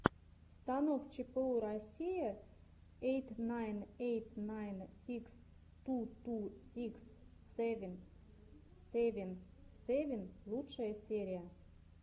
станок чпу россия эйт найн эйт найн сикс ту ту сикс сэвен сэвен сэвен лучшая серия